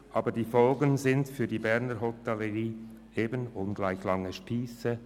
Aber die Folgen sind für die Berner Hotellerie eben ungleich lange Spiesse.